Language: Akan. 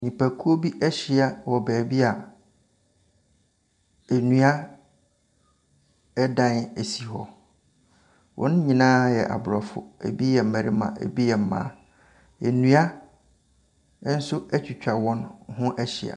Nnipakuo bi ahyia wɔ baabi a nnuadan si hɔ. Wɔn nyinaa yɛ abrɔfo. Ebi yɛ mmarima, ebi yɛ mmmaa. Nnua atwitwa wɔn ho ahyia.